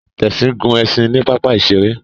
Tessy gún ẹṣin ní papa iṣere